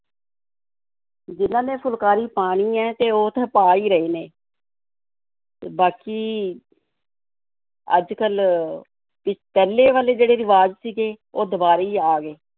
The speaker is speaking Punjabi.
ਜਿਹਨਾਂ ਨੇ ਫੁਲਕਾਰੀ ਪਾਉਣੀ ਹੈ ਤੇ ਉਹ ਤਾਂ ਪਾ ਹੀ ਰਹੇ ਨੇ ਤੇ ਬਾਕੀ ਅੱਜ-ਕੱਲ੍ਹ ਵੀ ਪਹਿਲੇ ਵਾਲੇ ਜਿਹੜੇ ਰਿਵਾਜ਼ ਸੀਗੇ, ਉਹ ਦੁਬਾਰਾ ਹੀ ਆ ਗਏ,